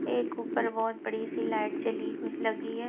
एक ऊपर बहोत बहुत बड़ी सी लाइट जली हु लगी है।